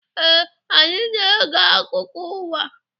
Ee, anyị na-ege akụkọ ụwa.